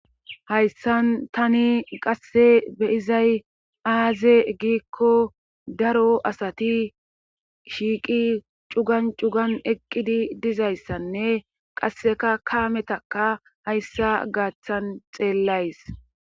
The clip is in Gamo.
Hayssan tani qasse be7izay aaze giikko daro asati shiiqi cugan cugan eqqidi dizayssanne qasseka kaametaka hayssa gaaththan xeellays.